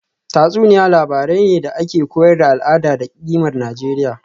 Tatsuniya labarai ne da ke koyar da al’ada da kimar Nijeriya